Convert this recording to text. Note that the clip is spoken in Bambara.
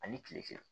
Ani kile kelen